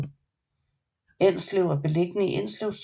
Enslev er beliggende i Enslev Sogn